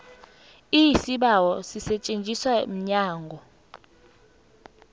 isibawo sisetjenzwa mnyango